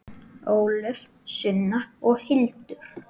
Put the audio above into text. Ólöf, Sunna og Hildur.